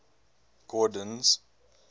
gordon's